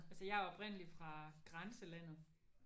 Altså jeg er oprindeligt fra grænselandet